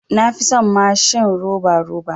Na fi son mashin roba roba.